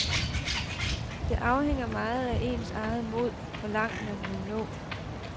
Det afhænger meget af ens eget mod, hvor langt man vil nå.